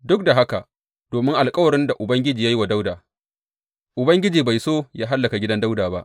Duk da haka, domin alkawarin da Ubangiji ya yi wa Dawuda, Ubangiji bai so yă hallaka gidan Dawuda ba.